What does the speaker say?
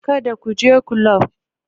Kada ku je kulob!